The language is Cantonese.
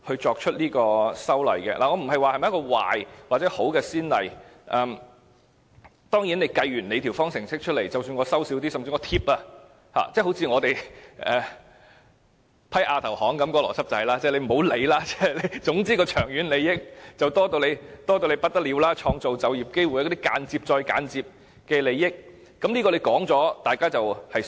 我沒有說這是壞先例或好先例，當然，當局說計完方程式後，即使少收一些，甚至補貼——正如我們通過亞投行的邏輯一樣——不要理會，總之長遠利益非常多，還有創造就業機會等間接再間接的利益，當局說完之後，大家只有相信。